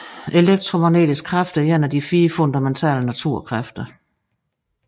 Elektromagnetisk kraft er en af de fire fundamentale naturkræfter